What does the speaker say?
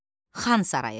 Xan sarayı.